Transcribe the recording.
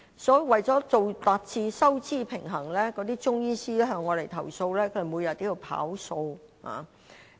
所以，為達致收支平衡，那些中醫師向我們投訴，他們每天也要"跑數"。